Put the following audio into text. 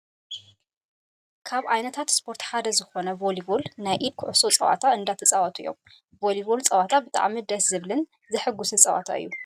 ካብ ዓይነታት ስፖርት ሓደ ዝኮነ ቮሊቮል ናይ ኢድ ክዕሶ ፀወታ እንዳተፃወቱ እዮም ። ቮሊቮል ፀወታ ብጣዕሚ ደስ ዝብልን ዝሕጉስን ፀወታ እዩ።